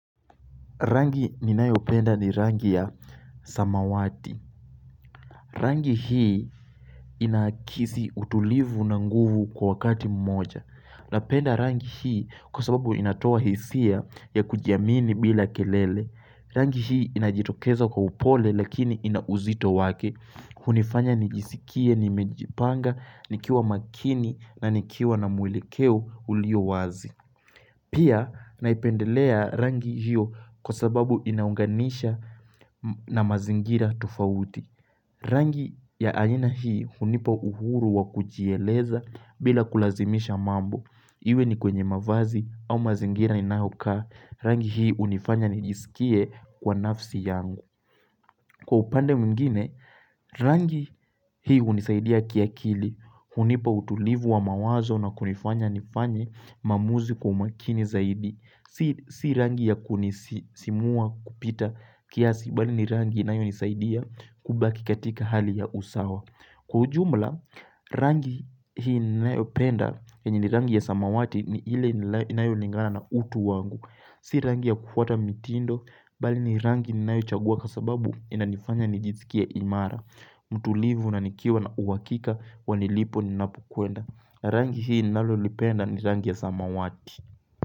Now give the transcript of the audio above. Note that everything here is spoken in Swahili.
Rangi ninayopenda ni rangi ya samawati. Rangi hii inakisi utulivu na nguvu kwa wakati mmoja. Napenda rangi hii kwa sababu inatoa hisia ya kujiamini bila kelele. Rangi hii inajitokeza kwa upole lakini inauzito wake. Hunifanya nijisikie, nimejipanga, nikiwa makini na nikiwa na mwelekeo ulio wazi. Pia naipendelea rangi hiyo kwasababu inaunganisha na mazingira tufauti. Rangi ya aina hii hunipa uhuru wa kujieleza bila kulazimisha mambo. Iwe ni kwenye mavazi au mazingira ninayokaa. Rangi hii hunifanya nijisikie kwa nafsi yangu. Kwa upande mingine, rangi hii hunisaidia kiakili, hunipa utulivu wa mawazo na kunifanya nifanyi maamuzi kwa umakini zaidi. Si rangi ya kunisisimua kupita kiasi, bali ni rangi inayonisaidia kubaki katika hali ya usawa Kwa ujumla, rangi hii ninayopenda, yenye ni rangi ya samawati ni ile inayo lingana na utu wangu Si rangi ya kufuata mitindo, bali ni rangi ninayochagua kwasababu inanifanya nijisikie imara mtulivu na nikiwa na uhakika wa nilipo ninapokwenda. Rangi hii nalolipenda ni rangi ya samawati.